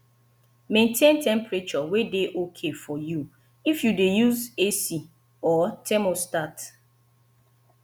maintain temperature wey dey okay for you if you dey use ac or thermostat